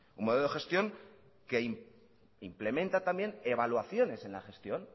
un modelo de gestión que implementa también evaluaciones en la gestión